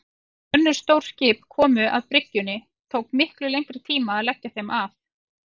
Þegar önnur stór skip komu að bryggjunni tók miklu lengri tíma að leggja þeim að.